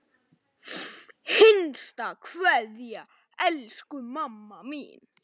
HINSTA KVEÐJA Elsku mamma mín.